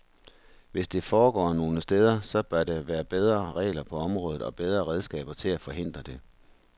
Hvis det foregår nogle steder, så bør der være bedre regler på området og bedre redskaber til at forhindre det.